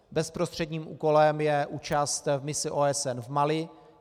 Bezprostředním úkolem je účast v misi OSN v Mali.